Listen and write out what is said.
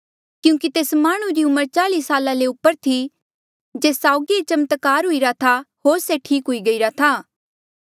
क्यूंकि तेस माह्णुं री उमर चाली साला ले ऊपर थी जेस साउगी ये चमत्कार हुईरा था होर से ठीक हुई गईरा था